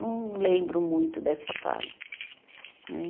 Não lembro muito dessa fase, né?